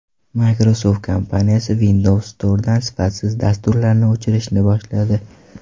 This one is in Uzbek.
Microsoft kompaniyasi Windows Store’dan sifatsiz dasturlarni o‘chirishni boshladi.